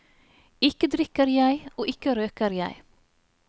Ikke drikker jeg, og ikke røyker jeg.